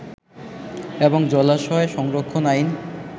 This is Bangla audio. এবং জলাশয় সংরক্ষণ আইন